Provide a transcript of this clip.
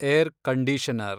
R conditioner